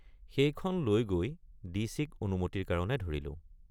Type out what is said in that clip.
সেইখন লৈ গৈ ডিচিক অনুমতিৰ কাৰণে ধৰিলোঁ।